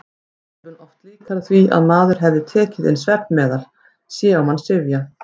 Áhrifin oft líkari því að maður hefði tekið inn svefnmeðal: sé á mann syfja.